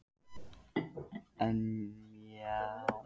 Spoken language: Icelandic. Já en Ísbjörg, þú varst fimmtán ára og undir lögaldri.